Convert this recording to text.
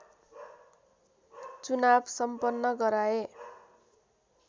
चुनाव सम्पन्न गराए